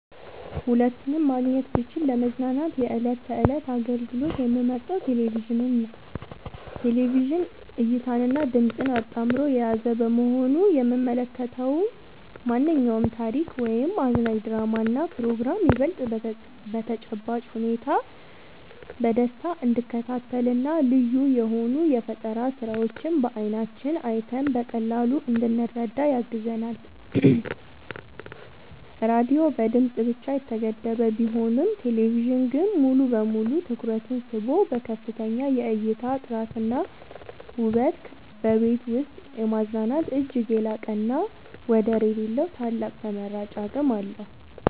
ሁለቱንም ማግኘት ብችል ለመዝናኛ የዕለት ተዕለት አገልግሎት የምመርጠው ቴሌቪዥንን ነው። ቴሌቪዥን እይታንና ድምጽን አጣምሮ የያዘ በመሆኑ የምንመለከተውን ማንኛውንም ታሪክ ወይም አዝናኝ ድራማና ፕሮግራም ይበልጥ በተጨባጭ ሁኔታ በደስታ እንድንከታተልና ልዩ የሆኑ የፈጠራ ስራዎችን በዓይናችን አይተን በቀላሉ እንድንረዳ ያግዘናል። ራዲዮ በድምጽ ብቻ የተገደበ ቢሆንም ቴሌቪዥን ግን ሙሉ በሙሉ ትኩረትን ስቦ በከፍተኛ የእይታ ጥራትና ውበት በቤት ውስጥ የማዝናናት እጅግ የላቀና ወደር የሌለው ታላቅ ተመራጭ አቅም አለው።